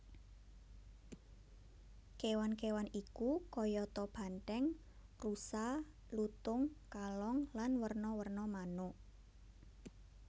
Kewan kewan iku kayata banthèng rusa lutung kalong lan werna werna manuk